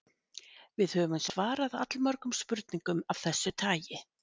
Við höfum svarað allmörgum spurningum af þessu tagi.